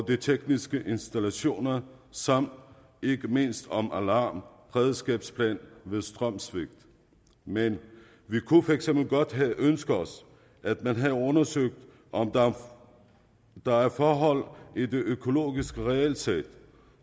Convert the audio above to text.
de tekniske installationer samt ikke mindst om alarm og beredskabsplaner ved strømsvigt men vi kunne for eksempel godt have ønsket os at man havde undersøgt om der er forhold i det økologiske regelsæt